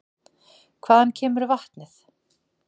Hvaðan kemur vatnið?